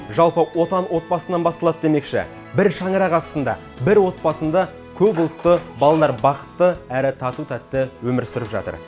жалпы отан отбасынан басталады демекші бір шаңырақ астында бір отбасында көпұлтты балалар бақытты әрі тату тәтті өмір сүріп жатыр